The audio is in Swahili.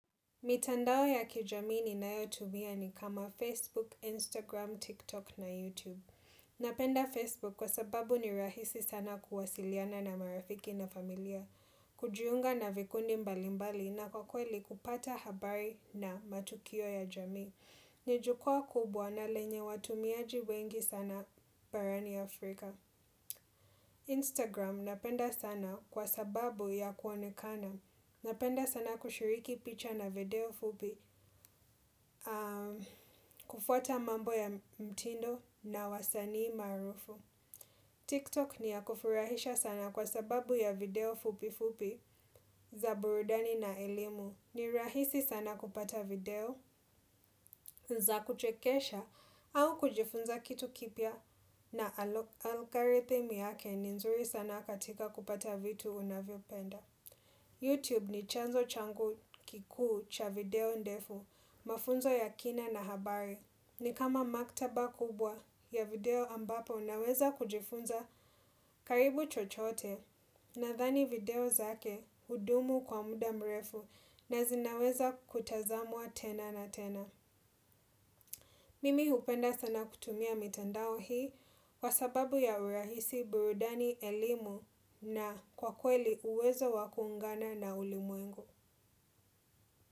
Mitandao ya kijami ninayotumia ni kama Facebook, Instagram, TikTok na YouTube. Napenda Facebook kwa sababu ni rahisi sana kuwasiliana na marafiki na familia. Kujiunga na vikundi mbali mbali na kwa kweli kupata habari na matukio ya jami. Ni jukwaa kubwa na lenye watumiaji wengi sana barani Afrika. Instagram napenda sana kwa sababu ya kuonekana. Napenda sana kushiriki picha na video fupi kufuata mambo ya mtindo na wasanii maarufu. TikTok ni ya kufurahisha sana kwa sababu ya video fupi fupi za burudani na elimu. Ni rahisi sana kupata video za kuchekesha au kujifunza kitu kipya na algorithm yake ni nzuri sana katika kupata vitu unavyopenda. Youtube ni chanzo changu kikuu cha video ndefu, mafunzo ya kina na habari. Ni kama maktaba kubwa ya video ambapo naweza kujifunza karibu chochote nadhani video zake hudumu kwa muda mrefu na zinaweza kutazamwa tena na tena. Mimi hupenda sana kutumia mitandao hii kwa sababu ya urahisi burudani, elimu na kwa kweli uwezo wa kuungana na ulimuengo.